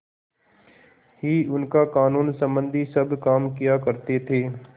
ही उनका कानूनसम्बन्धी सब काम किया करते थे